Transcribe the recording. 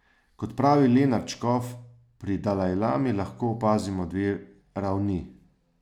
Kot pravi Lenart Škof, pri dalajlami lahko opazimo dve ravni.